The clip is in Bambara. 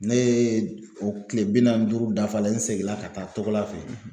Ne ye o kile bi naani ni duuru dafalen n seginna ka taa Togola fɛ